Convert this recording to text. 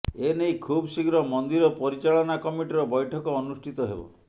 ଏ ନେଇ ଖୁବ୍ ଶୀଘ୍ର ମନ୍ଦିର ପରିଚାଳନା କମିଟିର ବୈଠକ ଅନୁଷ୍ଠିତ ହେବ